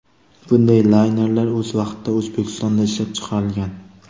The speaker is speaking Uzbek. Bunday laynerlar o‘z vaqtida O‘zbekistonda ishlab chiqarilgan.